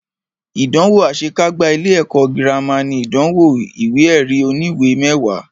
Ìdánwò àṣe kágbá ilé ẹ̀kọ́ gírámà ní ìdánwò ìwé ẹ̀rí oníwè mẹwàá.